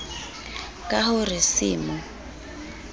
ka ho re se mo